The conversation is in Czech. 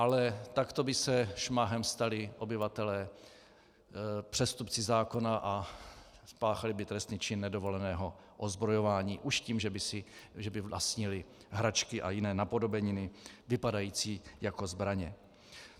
Ale takto by se šmahem stali obyvatelé přestupci zákona, spáchali by trestný čin nedovoleného ozbrojování už tím, že by vlastnili hračky a jiné napodobeniny vypadající jako zbraně.